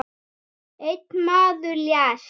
Einn maður lést.